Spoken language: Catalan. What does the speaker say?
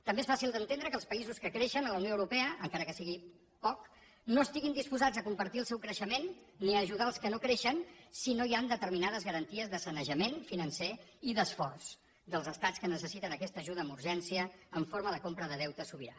també és fàcil d’entendre que els països que creixen a la unió europea encara que sigui poc no estiguin disposats a compartir el seu creixement ni a ajudar els que no creixen si no hi han determinades garanties de sanejament financer i d’esforç dels estats que necessiten aquesta ajuda amb urgència en forma de compra de deute sobirà